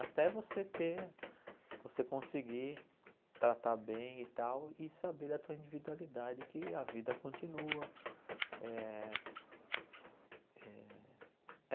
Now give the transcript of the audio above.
Até você ter, você conseguir tratar bem e tal, e saber da tua individualidade que a vida continua. Eh eh